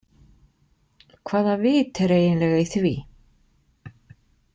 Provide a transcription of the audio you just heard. Hvaða vit er eiginlega í því?